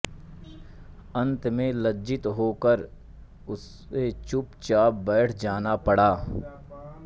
अन्त में लज्जित होकर उस चुपचाप बैठ जाना पड़ा